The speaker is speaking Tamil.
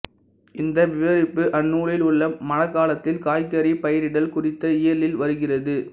இந்த விவரிப்பு அந்நூலில் உள்ள மழக்காலத்தில் காய்கறி பயிரிடல் குறித்த இயலில் வருகிறது